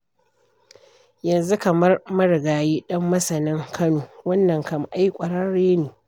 Yanzu kamar marigayi Ɗanmasanin Kano, wannan kam ai ƙwararre ne.